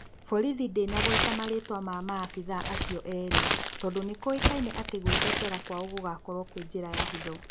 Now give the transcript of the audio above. Borithi ndĩnagweta marĩĩtwa ma maabithaa acio erĩ tondũ nĩ kũĩkaine atĩ gwĩtetera kwao gũgũkorwo kwi njĩra ya hitho.